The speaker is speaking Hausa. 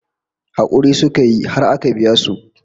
Hakuri suka yi har aka biya su